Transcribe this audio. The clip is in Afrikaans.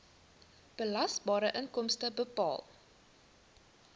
belasbare inkomste bepaal